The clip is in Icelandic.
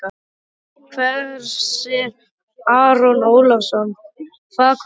Hersir Aron Ólafsson: Hvað kom fyrir þig?